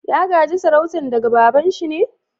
Ya ga'je sarautan daga baba'n shi ne?